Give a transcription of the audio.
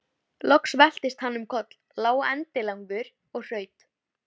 Kannski hafði tekið nokkurn tíma að skilja fyrirmælin.